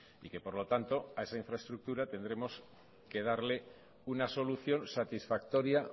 y que por lo tanto a esa infraestructura tendremos que darle una solución satisfactoria